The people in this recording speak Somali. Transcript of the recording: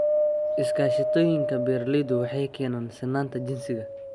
Iskaashatooyinka beeralaydu waxay keenaan sinnaanta jinsiga.